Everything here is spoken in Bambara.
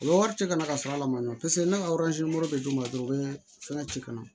U bɛ wari ci ka na ka sɔrɔ a la ma nɔ paseke ne ka bɛ d'u ma dɔrɔn u be fɛn ci ka na